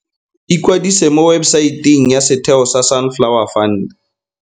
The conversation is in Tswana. Ikwadisa mo webesaeteng ya setheo sa Sunflower Fund.